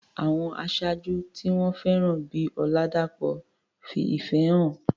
Àwọn aṣáájú tí wọ́n fẹ́ràn bíi Oladapo fi ìfẹ́ hàn.